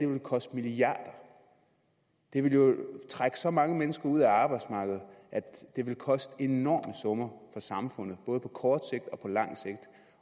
vil koste milliarder det vil jo trække så mange mennesker ud af arbejdsmarkedet at det vil koste enorme summer for samfundet både på kort sigt og på lang sigt